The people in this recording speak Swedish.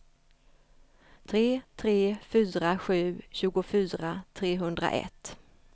tre tre fyra sju tjugofyra trehundraett